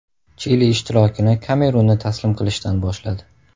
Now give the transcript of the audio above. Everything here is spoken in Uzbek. Chili ishtirokini Kamerunni taslim qilishdan boshladi.